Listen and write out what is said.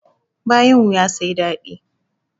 Bayan wuya sai dadi.